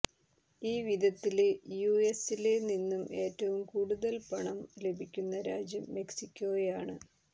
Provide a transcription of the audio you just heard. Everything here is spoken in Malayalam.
ഈ വിധത്തില് യുഎസില് നിന്നും ഏറ്റവും കൂടുതല് പണം ലഭിക്കുന്ന രാജ്യം മെക്സിക്കോയാണ്